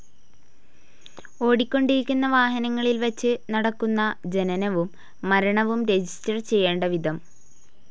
ഓടിക്കൊണ്ടിരിക്കുന്ന വാഹനങ്ങളിൽ വച്ച് നടക്കുന്ന ജനനവും മരണവും രജിസ്റ്റേർഡ്‌ ചെയ്യേണ്ട വിധം